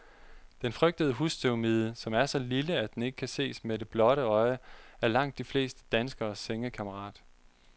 Den frygtede husstøvmide, som er så lille, at den ikke kan ses med det blotte øje, er langt de fleste danskeres sengekammerat.